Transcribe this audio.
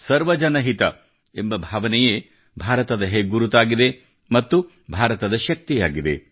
ಸರ್ವಜನ ಹಿತ ಎಂಬ ಭಾವನೆಯೇ ಭಾರತದ ಹೆಗ್ಗುರುತಾಗಿದೆ ಮತ್ತು ಭಾರತದ ಶಕ್ತಿಯಾಗಿದೆ